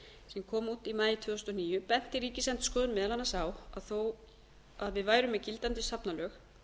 sem kom út í maí tvö þúsund og níu benti ríkisendurskoðun meðal annars á að þó að við værum með gildandi safnalög